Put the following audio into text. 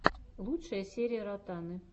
лучшая серия ротаны